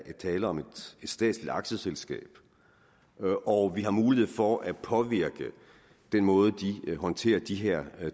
tale om et statsligt aktieselskab og vi har mulighed for at påvirke den måde de håndterer de her